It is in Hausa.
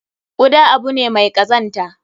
Kuda abu ne mai kazanta.